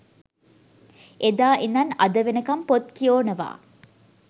එදා ඉදන් අද වෙනකම් පොත් කියෝනවා.